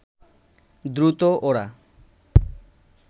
দ্রুত ওরা